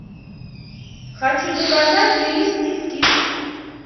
хочу заказать ирис кис кис